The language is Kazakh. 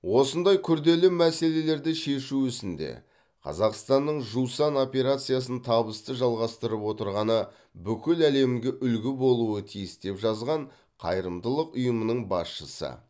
осындай күрделі мәселелерді шешу ісінде қазақстанның жусан операциясын табысты жалғастырып отырғаны бүкіл әлемге үлгі болуы тиіс деп жазған қайырымдылық ұйымының басшысы